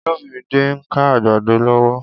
Olumide n ká àgbàdó lọwọ